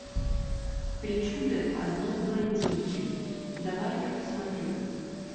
причуды одной блондинки давай я посмотрю